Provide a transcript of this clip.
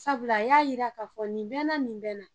Sabula a y'a yira k'a fɔ nin bɛ n na, nin bɛ n na.